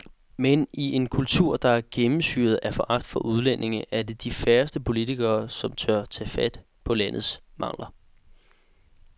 Men i en kultur, der er gennemsyret af foragt for udlændinge, er det de færreste politikere, som tør tage fat på landets egne mangler.